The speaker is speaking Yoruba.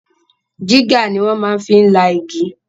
Jígà ni wọ́n maá fi la igi